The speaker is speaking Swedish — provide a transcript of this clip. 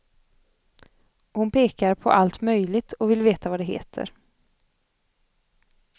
Hon pekar på allt möjligt och vill veta vad det heter.